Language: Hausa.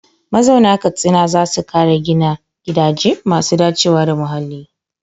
Mazauna Katsina za su kara gina gidaje masu dacewa da muhalli.